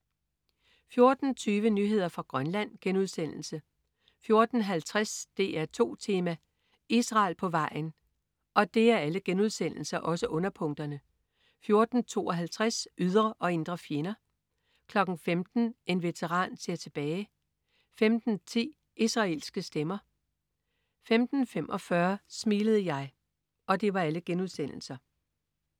14.20 Nyheder fra Grønland* 14.50 DR2 Tema: Israel på vejen* 14.52 Ydre og indre fjender* 15.00 En veteran ser tilbage* 15.10 Israelske stemmer* 15.45 Smilede jeg?*